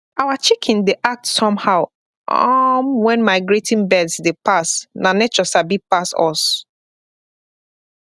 our chicken dey act somehow um when migrating birds dey passna nature sabi pass us